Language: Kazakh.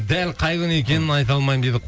дәл қай күні екенін айта алмаймын дейді